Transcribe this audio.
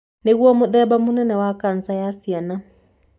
Nĩguo mũthemba mũnene wa kanca ya ciana.